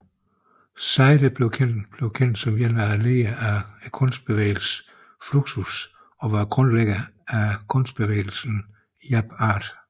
Side blev kendt som en af lederne af kunstbevægelsen Fluxus og var grundlæggeren af kunstbevægelsen Jape Art